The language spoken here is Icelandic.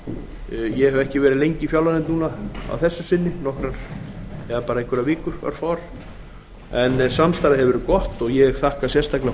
ég hef ekki verið lengi í fjárlaganefnd að þessu sinni bara örfáar vikur en samstarfið hefur verið gott ég þakka sérstaklega